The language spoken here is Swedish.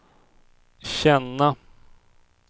känna